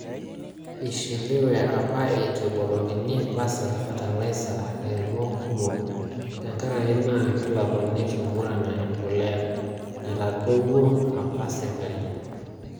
Eishiliwe apa eitu ebukokini Basal fertilizer lairemok kumok tenkaraki naa kelakwaniki Murang`a empolea naitadowutuo apa sirkalii.